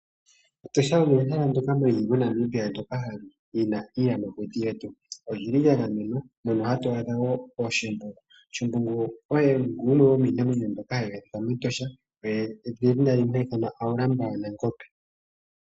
Etosha olyo ehela ndyoka li li moNamibia ndyoka li na iiyamakuti yalyo. Oli li lya gamenwa. Mono hatu adha wo ooShimbungu. Shimbungu oye gumwe gomiinamwenyo mbyoka hayi adhika mEtosha. Edhina limwe oha ithanwa Haulamba lyaNangombe.